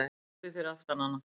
Pabbi fyrir aftan hana: